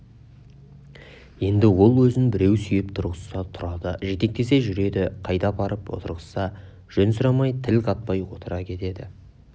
енді ол өзін біреу сүйеп тұрғызса тұрады жетектесе жүреді қайда апарып отырғызса жөн сұрамай тіл қатпай отыра кетеді